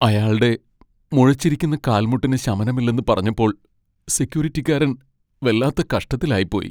അയാൾടെ മുഴച്ചിരിക്കുന്ന കാൽമുട്ടിന് ശമനമില്ലെന്ന് പറഞ്ഞപ്പോൾ സെക്യൂരിറ്റിക്കാരൻ വെല്ലാത്ത കഷ്ടത്തിലായിപ്പോയി.